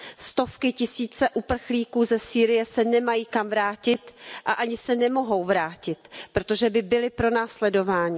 Stovky tisíce uprchlíků ze Sýrie se nemají kam vrátit a ani se nemohou vrátit, protože by byly pronásledovány.